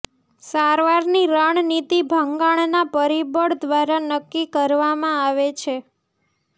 સારવારની રણનીતિ ભંગાણના પરિબળ દ્વારા નક્કી કરવામાં આવે છે